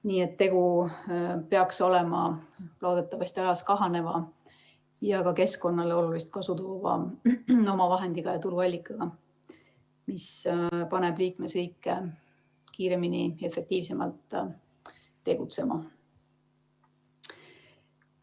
Nii et tegu peaks olema loodetavasti ajas kahaneva ja keskkonnale olulist kasu toova omavahendi ja tuluallikaga, mis paneb liikmesriike kiiremini ja efektiivsemalt tegutsema.